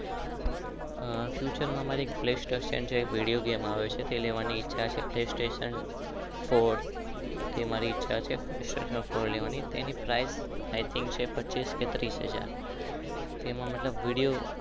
અહહ future માં એક video ગમે આવે છે પળે સ્તતિઓન